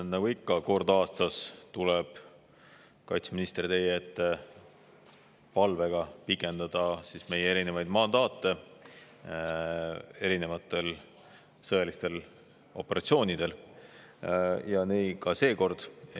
Nagu ikka, kord aastas tuleb kaitseminister teie ette palvega pikendada meie erinevaid mandaate erinevatel sõjalistel operatsioonidel ja nii ka seekord.